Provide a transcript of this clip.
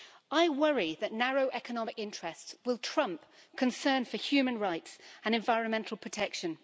I worry that narrow economic interests will trump concern for human rights and environmental protection.